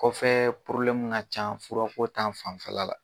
Kɔfɛɛ ŋa ca fura ko ta fanfɛla la